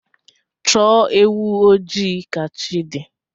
Chọọ ewụ ojii ka chi di